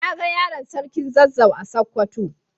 Na ga yaron sarkin zazzau a sokoto.